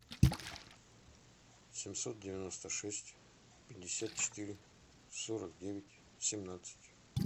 семьсот девяносто шесть пятьдесят четыре сорок девять семнадцать